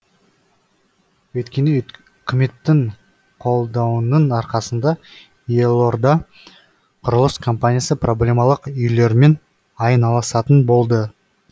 өйткені үкіметтің қолдауының арқасында елорда құрылыс компаниясы проблемалық үйлермен айналысатын болды